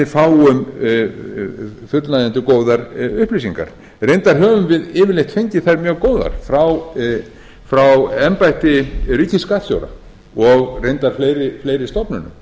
fáum fullnægjandi og góðar upplýsingar reyndar höfum við yfirleitt fengið þær mjög góðar frá embætti ríkisskattstjóra og reyndar fleiri stofnunum